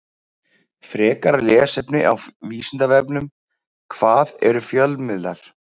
Frekara lesefni á Vísindavefnum: Hvað eru fjölmiðlar?